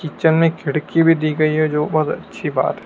kitchen में खिड़की भी दी गई है जो बहोत अच्छी बात--